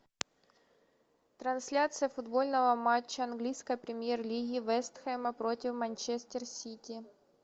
трансляция футбольного матча английской премьер лиги вест хэма против манчестер сити